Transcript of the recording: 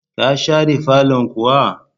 Ka share fallon kuwa?